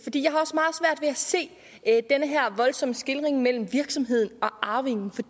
se den her voldsomme skelnen mellem virksomheden og arvingen